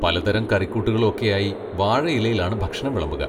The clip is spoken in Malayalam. പലതരം കറിക്കൂട്ടുകളും ഒക്കെയായി വാഴിയിലയിലാണ് ഭക്ഷണം വിളമ്പുക.